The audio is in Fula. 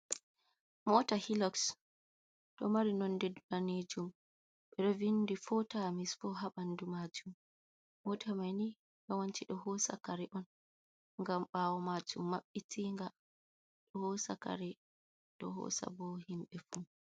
Mota heloks do mari nonde ddanjum ,bedovindi 4*4habandu majum mota mani yawanci do hosakare on gam bawo majum mabbitinga do hosakare do hosa bo himbe fu.